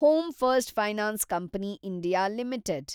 home first finance company India limited